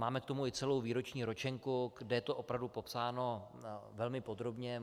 Máme k tomu i celou výroční ročenku, kde je to opravdu popsáno velmi podrobně.